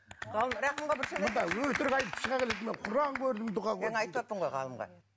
өтірік айтып шыға келеді мен құран көрдім дұға мен айтываттым ғой ғалымға